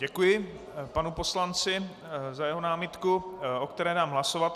Děkuji panu poslanci za jeho námitku, o které dám hlasovat.